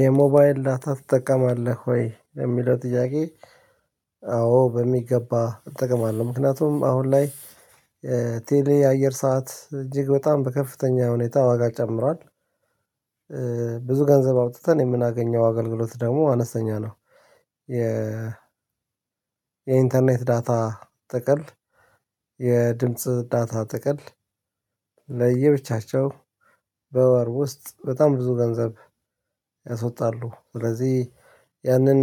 የሞባይል ላታ ትጠቀማለህ ወይ ለሚለው ጥያቄ? አዎ በሚገባ እጠቀማለሁ። ምክንያቱም አሁን ላይ ቴሌ አየር ሰዓት እጅግ በጣም በከፍተኛ ሁኔታ ዋጋ ጨምሯል። ብዙ ገንዘብ አውጥተን የምናገኘው አገልግሎት ደግሞ አነስተኛ ነው። የ የኢንተርኔት ዳታ ጥቅል የድምጽ ዳታ ጥቅል ለየብቻቸው በወር ውስጥ በጣም ብዙ ገንዘብ ያስወጣሉ። ስለዚህ ያንን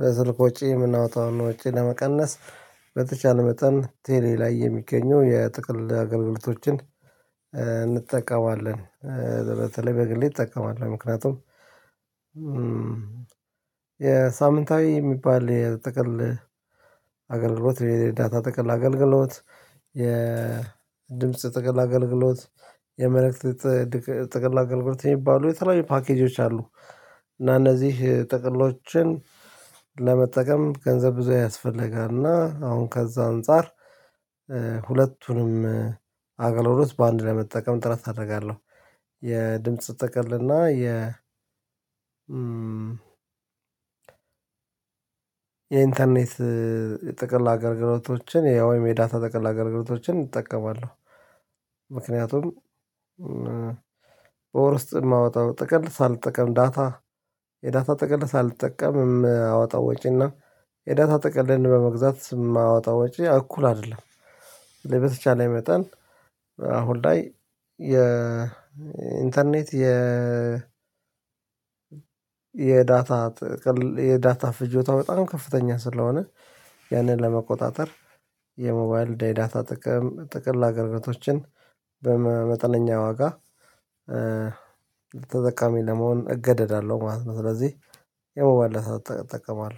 በስልክ ወጪ የምናወጣውን ወጪ ለመቀነስ በተቻለ መጠን ቴሌ ላይ የሚገኘው የጥቅል አገልግሎቶችን እንጠቀማለን። በተለይ በግሌ እጠቀማለሁ። ምክንያቱም የሳምንታዊ የሚባል የጥቅል አገልግሎት የዳታ ጥቅል አገልግሎት የድምጽ ጠቅል አገልግሎት የመልእክት ጠቅል አገልግሎት የሚባሉ የተለያዩ ፓኬጆች አሉ። እና እነዚህ ጠቅሎችን ለመጠቀም ገንዘብ ብዙ ያስፈልጋል እና አሁን ከዛ አንፃር ሁለቱንም አገልግሎት በአንድ ለመጠቀም ጥረት አደርጋለሁ። የድምጽ ጥቅልና የ የኢንተርኔት ጥቅል አገልግሎቶችን የወይም የዳታ ጥቅል አገልግሎቶችን እጠቀማለሁ። ምክንያቱም በወር ውስጥ የማወጣው ጠቅል ሳልጠቀም ዳታ የዳታ ጠቅልን ሳልጠቀም አወጣ ወጪና የዳታ ጠቅልን በመግዛት ስም አወጣ ወጪ እኩል አይደለም። ለበተቻለ መጠን አሁን ላይ የኢንተርኔት የ የዳታ የዳታ ፍጆታ በጣም ከፍተኛ ስለሆነ ያንን ለመቆጣጠር የሞባይል ዳታ ጥቅም ጥቅል አገልግሎቶችን በመጠነኛ ዋጋ ተጠቃሚ ለመሆን እገደዳለሁ ማለት ነው። ስለዚህ የሞባል ዳታ እጠቀማለሁ